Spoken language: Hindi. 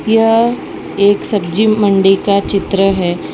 यह एक सब्जी मंडी का चित्र है।